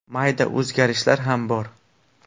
Mayda o‘zgarishlar ham bor.